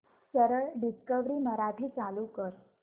सरळ डिस्कवरी मराठी चालू कर